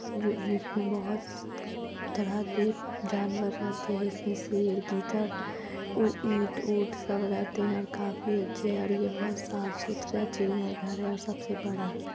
जो जिसमे बहुत तरह के जानवर रहते है इसमें से गिद्धड़ उ इट ऊट सब रहते है और काफी अच्छे हैं और ये बहुत साफ - सुथरा चिड़िया घर है और सबसे बड़ा।